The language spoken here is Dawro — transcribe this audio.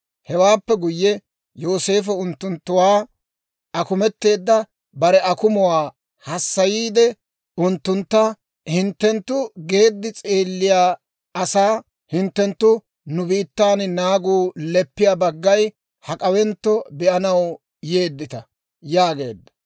Hewaappe guyye, Yooseefo unttunttuwaa akumeteedda bare akumuwaa hassayiide unttuntta, «hinttenttu geeddi s'eelliyaa asaa; hinttenttu nu biittan naagu leppiyaa baggay hak'awentto be'anaw yeeddita» yaageedda.